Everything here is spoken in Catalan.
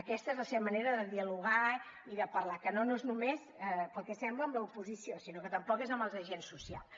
aquesta és la seva manera de dialogar i de parlar que no és només pel que sembla amb l’oposició sinó que també és amb els agents socials